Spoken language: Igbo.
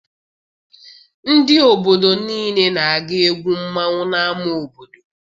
Ndị obodo niile na-aga egwu mmanwụ n'ama obodo.